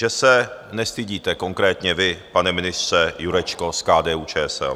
Že se nestydíte konkrétně vy, pane ministře Jurečko z KDU-ČSL!